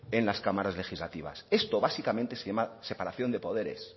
en las cámaras legislativas esto básicamente se llama separación de poderes